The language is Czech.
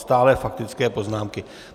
Stále faktické poznámky.